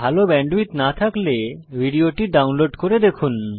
ভাল ব্যান্ডউইডথ না থাকলে ভিডিওটি ডাউনলোড করে দেখুন